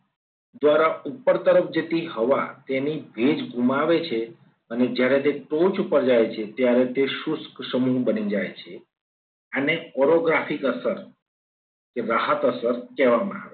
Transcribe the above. દ્વારા ઉપર તરફ જતી હવા તેને ભેજ ગુમાવે છે. અને જ્યારે તે ટોચ ઉપર જાય છે. ત્યારે તે શુષ્ક સમૂહ બની જાય છે. અને choreographic કસર કે રાહત અસર કહેવામાં